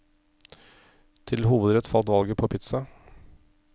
Til hovedrett falt valget på pizza.